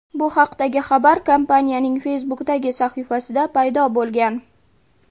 Bu haqdagi xabar kompaniyaning Facebook’dagi sahifasida paydo bo‘lgan.